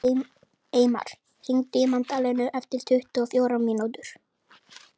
Eymar, hringdu í Magdalenu eftir tuttugu og fjórar mínútur.